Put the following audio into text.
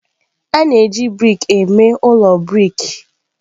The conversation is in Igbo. A na-eji brik eme ụlọ brik.